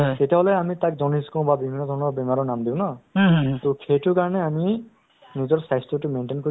চোৱা আয়ুসমান যদি নহ'লেহেতেন to সি ডেৰ লাখ টকা মাটি বেছিব দিব লগা লগীয়া হ'লেহেতেন নহয় জানো